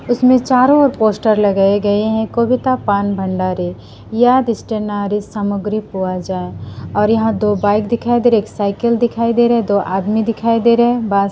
उसमें चारों ओर पोस्टर लगाए गए हैं कविता पान भंडारी यह स्टेनारी सामग्री और यहां दो बाइक दिखाई दे रहे एक साइकिल दिखाई दे रहे है दो आदमी दिखाई दे रहे हैं बांस--